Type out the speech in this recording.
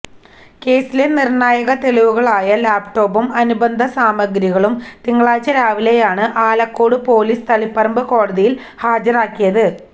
കേസിലെ നിർണ്ണായക തെളിവുകളായ ലാപ്ടോപ്പും അനുബന്ധ സാമഗ്രികളും തിങ്കളാഴ്ച്ച രാവിലെയാണ് ആലക്കോട് പൊലിസ് തളിപ്പറമ്പ് കോടതിയിൽ ഹാജരാക്കിയത്